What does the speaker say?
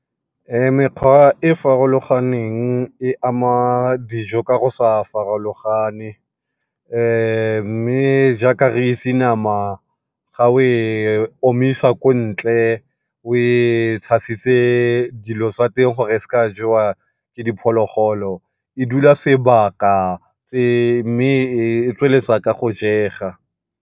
Mekgwa e e farologaneng e ama dijo ka go sa farologane mme jaaka re itse nama ga o e omisa ko ntle o e tshasitse dilo tsa teng gore e se ka jewa ke diphologolo, e dula sebaka mme e tsweletsa ka go jega.